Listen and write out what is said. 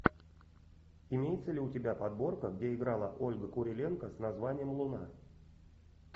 имеется ли у тебя подборка где играла ольга куриленко с названием луна